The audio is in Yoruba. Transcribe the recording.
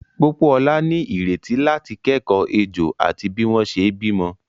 Pópóọlá ní ìrètí láti kẹ́kọ̀ọ́ ejò àti bí wọ́n ṣe bímọ.